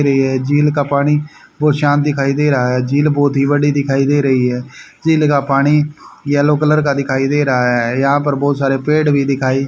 झील का पानी बहोत शांत दिखाई दे रहा है झील बहोत ही बड़ी दिखाई दे रही है झील का पानी येलो कलर का दिखाई दे रहा है यहां पर बहुत सारे पेड़ भी दिखाई--